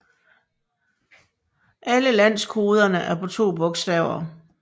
Alle landekoderne er på to bogstaver